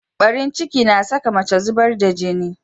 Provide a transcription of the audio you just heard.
Barin ciki na saka mace zubar da jini.